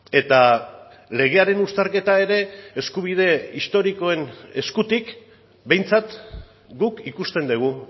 eta legearen uztarketa ere eskubide historikoen eskutik behintzat guk ikusten dugu